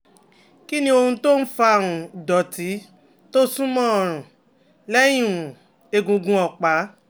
Kí um ló ń fa um ìdọ̀tí tó súnmọ́ ọrùn lẹ́yìn um egungun ọ̀pá?